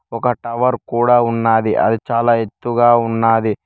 ఒక టవర్ కూడా ఉన్నది అది చాలా ఎత్తుగా ఉన్నది.